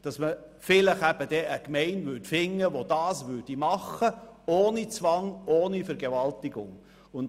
Damit könnte man eine Gemeinde finden, die dies ohne Zwang und Vergewaltigung macht.